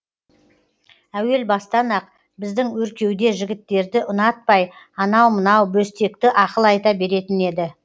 әуел бастан ақ біздің өркеуде жігіттерді ұнатпай анау мынау бөстекті ақыл айта беретін еді